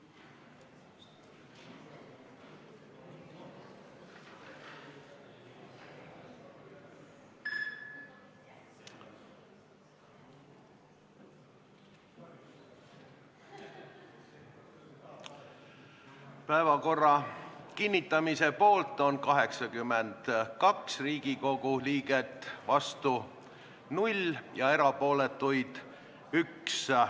Hääletustulemused Päevakorra kinnitamise poolt on 82 Riigikogu liiget, vastu on 0 ja erapooletuid 1.